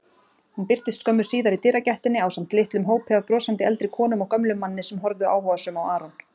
Hún birtist skömmu síðar í dyragættinni ásamt litlum hópi af brosandi eldri konum og gömlum manni sem horfðu áhugasöm á Aron.